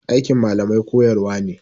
Aikin malamai koyarwa ne.